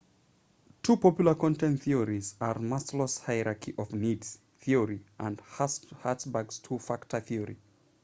two popular content theories are maslow's hierarchy of needs theory and hertzberg's two factor theory